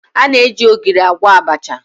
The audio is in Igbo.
Ọ na-eji ogiri agwọ abacha